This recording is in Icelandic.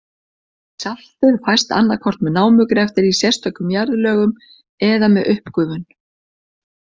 Saltið fæst annað hvort með námugreftri í sérstökum jarðlögum eða með uppgufun.